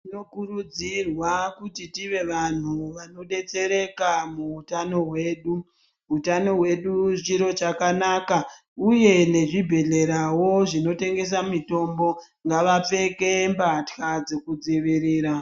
Tinokurudzirwa kuti tive vanhu vanodetsereka muutano hwedu. Utano hwedu chiro chakanaka uye nezvibhedhlerawo zvinotengesa mitombo ngavapfeke mbatya dzekudzivirira.